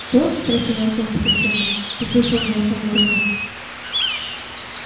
что спросил артём потрясенно ты слышал голоса мёртвых